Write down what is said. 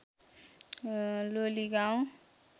Loligaun